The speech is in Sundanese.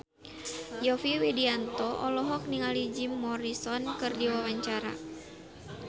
Yovie Widianto olohok ningali Jim Morrison keur diwawancara